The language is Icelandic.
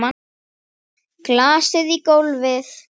Glasið í gólfið.